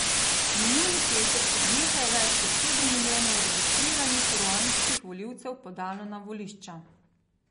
Minuli petek se je nekaj več kot sedem milijonov registriranih ruandskih volivcev podalo na volišča.